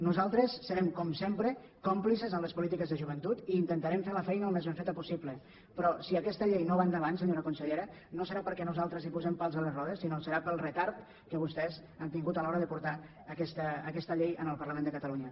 nosaltres serem com sempre còmplices amb les polítiques de joventut i intentarem fer la feina al més ben feta possible però si aquesta llei no va endavant senyora consellera no serà perquè nosaltres hi posem pals a les rodes sinó que serà pel retard que vostès han tingut a l’hora de portar aquesta llei al parlament de catalunya